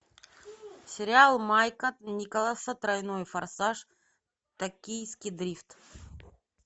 сериал майка николса тройной форсаж токийский дрифт